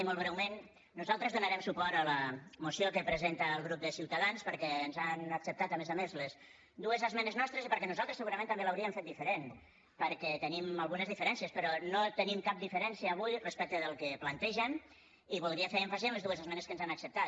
i molt breument nosaltres donarem suport a la moció que presenta el grup de ciutadans perquè ens han acceptat a més a més les dues esmenes nostres i perquè nosaltres segurament també l’hauríem fet diferent perquè tenim algunes diferències però no tenim cap diferència avui respecte del que plantegen i voldria fer èmfasi en les dues esmenes que ens han acceptat